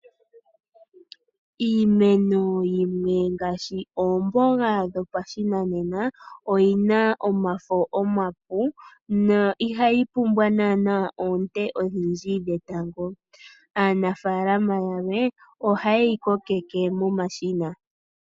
Iimeno yimwe ngaashi oomboga dhopashinanena, oyina omafo omapu, no ihayi pumbwa naana oonte odhindji dhetango. Aanafalama yamwe, ohayeyi kokeke momashina.